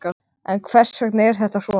En hvers vegna er þetta svona?